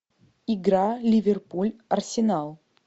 игра ливерпуль арсенал